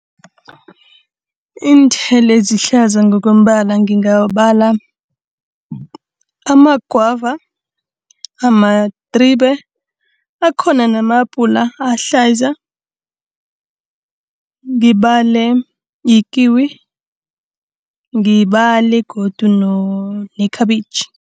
Iinthelo ezihlaza ngokombala ngingabala amagwava, amadribe. Akhona nama-abhula ahlaza, ngibale ikiwi, ngibale godu nekhabitjhi.